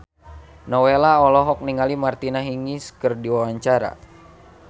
Nowela olohok ningali Martina Hingis keur diwawancara